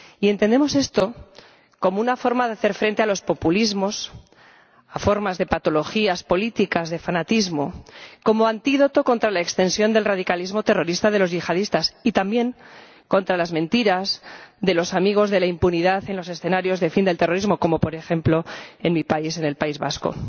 Y entendemos esto como una forma de hacer frente a los populismos, a formas de patologías políticas, de fanatismo, como antídoto contra la extensión del radicalismo terrorista de los yihadistas y, también, contra las mentiras de los amigos de la impunidad en los escenarios de fin del terrorismo, como por ejemplo en mi país, en el País Vasco.